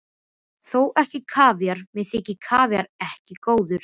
Þó ekki kavíar, mér þykir kavíar ekki góður.